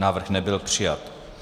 Návrh nebyl přijat.